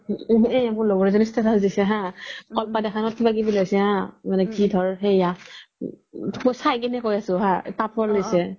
এই মোৰ লগৰ এজ্নি status দিছে কি ধৰ সেৱা মই চাই কিনে কই আছো হা